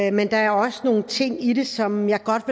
i men der er også nogle ting i det som jeg godt